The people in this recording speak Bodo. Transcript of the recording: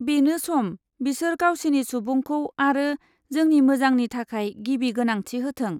बेनो सम, बिसोर गावसिनि सुबुंखौ आरो जोंनि मोजांनि थाखाय गिबि गोनांथि होथों।